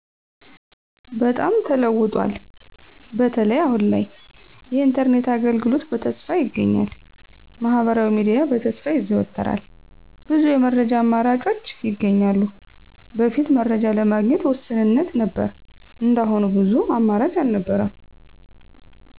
በጣም ተለውጧል፣ በተለይ አሁን ላይ የኢንተርኔት አገልግሎት በስፋት ይገኛል። ማህበራዊ ሚዲያ በስፋት ይዘወተራል፣ ብዙ የመረጃ አማራጮች ይገኛሉ። በፊት መረጃ ለማግኘት ውስንነት ነበር እንደ አሁኑ ብዙ አማራጭ አልነበረም።